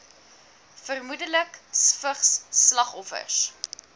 vermoedelik vigs slagoffers